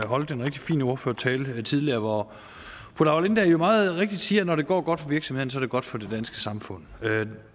holdt en rigtig fin ordførertale tidligere hvor fru laura lindahl meget rigtigt siger at når det går godt for virksomhederne godt for det danske samfund